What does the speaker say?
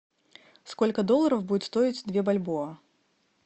сколько долларов будет стоить две бальбоа